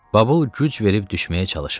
Babul güc verib düşməyə çalışırdı.